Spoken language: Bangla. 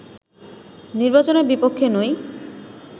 নির্বাচনের বিপক্ষে নই